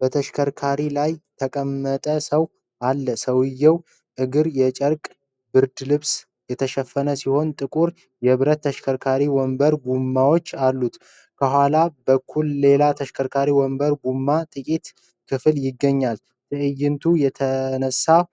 በተሽከርካሪ ላይ ተቀምጠ ሰው አለ። የሰውየው እግር የጨርቅ ብርድ ልብስ የተሸፈነ ሲሆን ጥቁር የብረት ተሽከርካሪ ወንበር ጎማዎች አሉት። ከኋላ በኩል ሌላ የተሽከርካሪ ወንበር ጎማ ጥቂት ክፍል ይገኛል። ትዕይንቱ የተነሳው